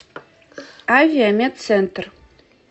авиамедцентр